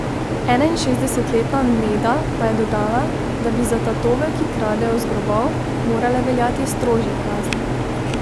Enainšestdesetletna Neda pa je dodala, da bi za tatove, ki kradejo z grobov, morale veljati strožje kazni.